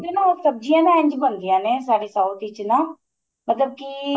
ਉਹ ਸਬਜੀਆਂ ਦਾ ਇੰਜ ਬਣਦੀਆਂ ਨੇ ਸਾਡੇ south ਵਿੱਚ ਨਾ ਮਤਲਬ ਕੀ